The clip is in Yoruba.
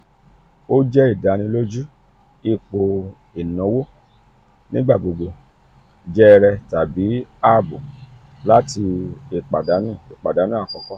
o jẹ idaniloju ipo inawo nigbagbogbo jèrè tabi aabo lati ipadanu ipadanu akọkọ.